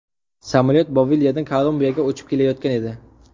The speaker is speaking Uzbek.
Samolyot Boliviyadan Kolumbiyaga uchib kelayotgan edi.